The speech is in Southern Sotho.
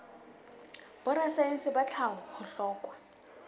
borasaense ba tlhaho ho hlokwa